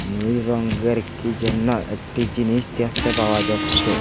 নীল রঙ্গের কি যেন একটি জিনিস দেখতে পাওয়া যাচ্চে।